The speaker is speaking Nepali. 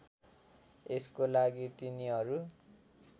यसको लागि तिनीहरू